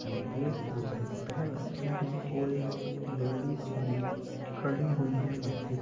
वेशभूषाऐ पहन रखी हैं और एक लेडिज भी खड़ी हुई हैं मार्किट में--